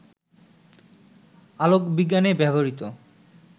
আলোকবিজ্ঞানে ব্যবহৃত